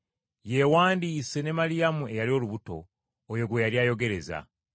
yeewandiise ne Maliyamu eyali olubuto, oyo gwe yali ayogereza.